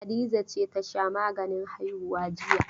Hadiza ce ta sha maganin haihuwa jiya.